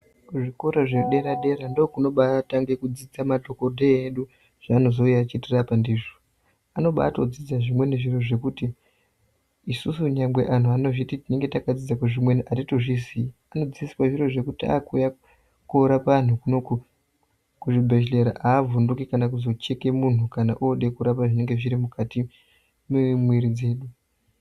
Kuzvikora zvedera dera ndokunobayi tange kudzidziswe madhokodheya edu zvaanozuuye eyitirapa ndizvo anobayi dzidza zvimwe zviro zvekuti isusu anhu anenge achizviti tinenge takadzidza zviro zvimweni tinenge tisingazvizivi anenge akadzidziswe zviro zvekuti akuuya korapa anhu kuno kuzvibhedhlera haavhunduki kana kucheke munhu kana ode kuzorape zvinenge zviri mukati mwemuwiri dzedu.